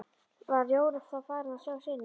Var Jón þá farinn að sjá sýnir.